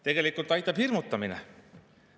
Tegelikult aitab hirmutamine.